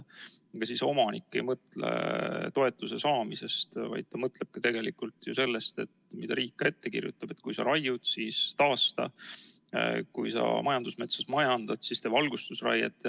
Ega siis omanik ei mõtle toetuse saamisest, vaid ta mõtleb tegelikult ju sellest, mida riik ette kirjutab, et kui sa raiud, siis taasta, ja kui sa majandusmetsa majandad, siis tee valgustusraiet.